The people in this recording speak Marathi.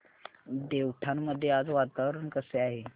देवठाण मध्ये आज वातावरण कसे आहे